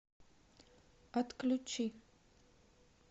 отключи